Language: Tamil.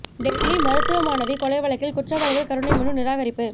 டெல்லி மருத்துவ மாணவி கொலை வழக்கில் குற்றவாளிகளின் கருணை மனு நிராகரிப்பு